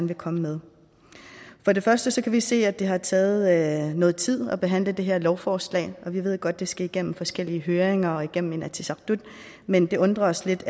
vil komme med for det første kan vi se at det har taget noget tid at behandle det her lovforslag vi ved godt at det skal igennem forskellige høringer og igennem inatsisartut men det undrer os lidt